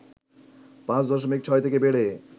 ৫ দশমিক ৬ থেকে বেড়ে